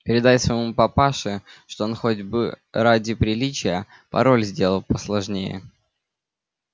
передай своему папаше что он хоть бы ради приличия пароль сделал посложнее